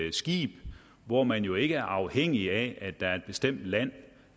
et skib hvor man jo ikke er afhængig af at der er bestemt land